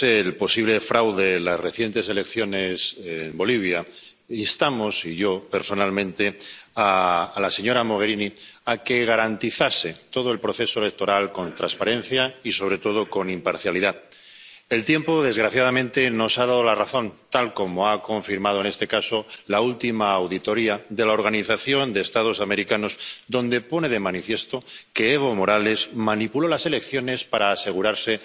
Señora presidenta, al poco de conocerse el posible fraude en las recientes elecciones en Bolivia, instamos —yo personalmente— a la señora Mogherini a que garantizase todo el proceso electoral con transparencia y, sobre todo, con imparcialidad. El tiempo, desgraciadamente, nos ha dado la razón, tal como ha confirmado, en este caso, la última auditoría de la Organización de los Estados Americanos, donde se pone de manifiesto que Evo Morales manipuló las elecciones para asegurarse